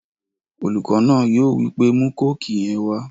Olùkọ náà yóò wípé 'mú kóòkì yẹn wá!'